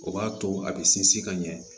O b'a to a bɛ sinsin ka ɲɛ